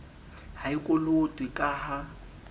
ha e kolotwe ka ha